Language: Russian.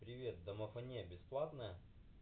привет домафония бесплатная